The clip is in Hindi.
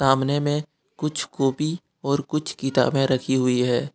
सामने में कुछ कॉपी और कुछ किताबें रखी हुई है।